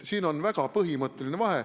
Siin on väga põhimõtteline vahe.